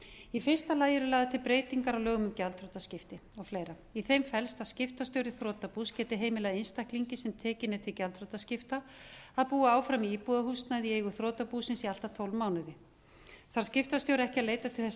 í fyrsta lagi eru lagðar til breytingar á lögum um gjaldþrotaskipti og fleira í þeim felst að skiptastjóri þrotabús geti heimilað einstaklingi sem tekinn er til gjaldþrotaskipta að búa áfram í íbúðarhúsnæði í eigu þrotabúsins í allt að tólf mánuði þarf skiptastjóri ekki að leita til þess að